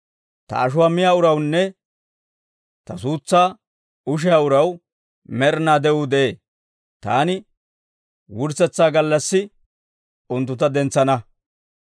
Ta ashuwaa miyaa urawunne, ta suutsaa ushiyaa uraw med'inaa de'uu de'ee. Taani wurssetsa gallassi unttuntta dentsana.